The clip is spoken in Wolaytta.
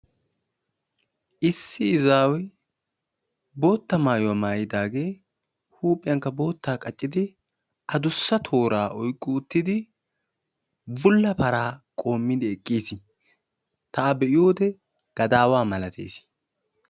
issi izzaw bootta maayuwa maayyidaagee huuphiyankka bootta qaccidi addussa toora oyqqi uttidi bulla paraa qoomidi eqqiis. ta a be'iyoode gadawaa malatees.